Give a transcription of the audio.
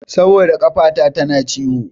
Saboda ƙafata tana ciwo.